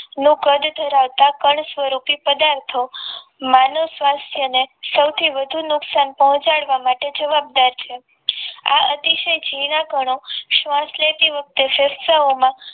નું કદ ધરાવતા કણ સ્વરૂપી પદાર્થો માનવ સ્વાસ્થ ને સૌથી વધુ નુકસાન પહોંચાડવા માટે જવાબદાર છે. આ અતિશય ઝીણા કણો શ્વાસ લેતી વખતે ફેફસાઓમાં